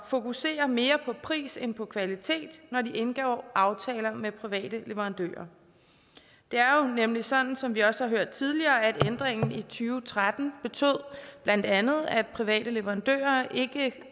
fokusere mere på pris end på kvalitet når de indgår aftaler med private leverandører det er jo nemlig sådan som vi også har hørt tidligere at ændringen i og tretten blandt andet betød at private leverandører ikke